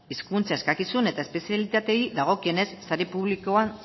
hizkuntza ikaskizun eta espezialitateei dagokienez sare publikoan